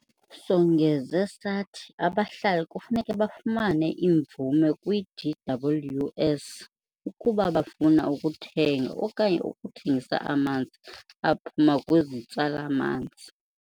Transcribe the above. Songeze sathi abahlali kufuneka bafumane imvume kwi-DWS ukuba bafuna ukuthenga okanye ukuthengisa amanzi aphuma kwizitsala-manzi.